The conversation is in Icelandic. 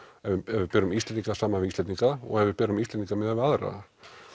ef við berum Íslendinga saman við Íslendinga og ef við berum Íslendinga við aðra